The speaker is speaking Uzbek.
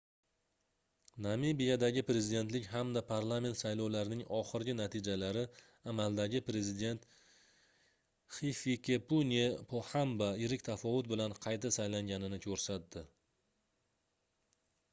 namibiyadagi prezidentlik hamda parlament saylovlarining oxirgi natijalari amaldagi prezident hifikepunye pohamba yirik tafovut bilan qayta saylanganini koʻrsatdi